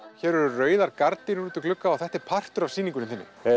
hér eru rauðar gardínur út í glugga og þetta er partur af sýningunni